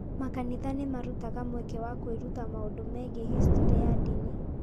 Makanitha nĩ marutaga mweke wa kũĩruta maũndũ megiĩ historĩ ya ndini.